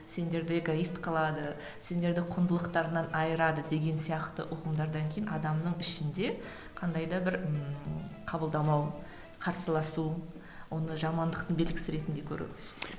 сендерді эгоист қылады сендерді құндылықтарыңнан айырады деген сияқты ұғымдардан кейін адамның ішінде қандай да бір ііі қабылдамау қарсыласу оны жамандықтың белгісі ретінде көру